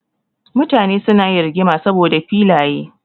Mutane suna yin rigima saboda filaye.